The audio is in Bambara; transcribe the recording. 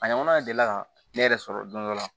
A ɲɔgɔna deli ka ne yɛrɛ sɔrɔ don dɔ la